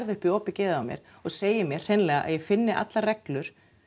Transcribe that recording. upp í opið geðið á mér og segir mér hreinlega að ég finni allar reglur